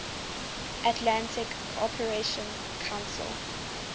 atlantic cooperation council